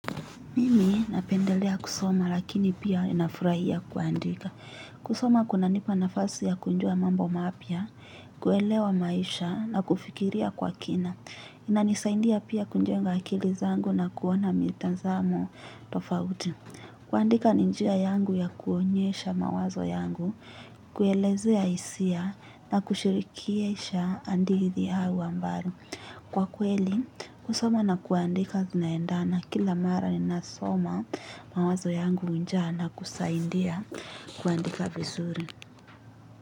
Mimi napendelea kusoma lakini pia ninafurahia kuandika. Kusoma kuna nipa nafasi ya kunjua mambo mapia, kuelewa maisha na kufikiria kwa kina. Inanisaindia pia kunjenga akilizangu na kuona mitanzamo tofauti. Kuandika ni njia yangu ya kuonyesha mawazo yangu kuelezea hisia na shirikisha andudhi au ambari. Kwa kweli, kusoma na kuandika zinaendana kila mara ni nasoma mawazo yangu njana kusaindia kuandika vizuri.